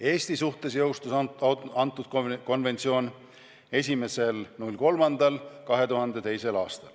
Eesti suhtes jõustus konventsioon 01.03.2002.